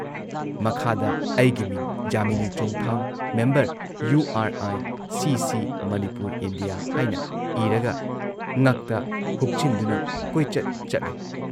ꯃꯈꯥꯗ ꯑꯩꯒꯤ ꯃꯤꯡ‑ ꯖꯥꯃꯤꯅꯤ ꯆꯣꯡꯊꯥꯝ member U R I C C Manipur (India) ꯍꯥꯏꯅ ꯏꯔꯒ ꯉꯛꯇ ꯍꯨꯛꯆꯤꯟꯗꯨꯅ ꯀꯣꯏꯆꯠ ꯆꯠꯂꯦ ꯫